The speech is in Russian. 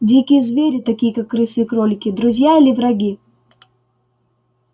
дикие звери такие как крысы и кролики друзья или враги